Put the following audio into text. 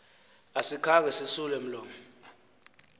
asikhange sisule mlomo